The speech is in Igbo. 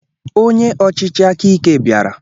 Onye ọchịchị akike biara